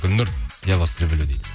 гүлнұр я вас люблю дейді